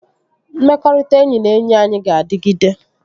Mmekọrịta enyi na enyi anyị ga-adịgide